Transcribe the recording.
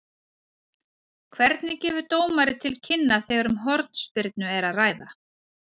Hvernig gefur dómari til kynna þegar um hornspyrnu er að ræða?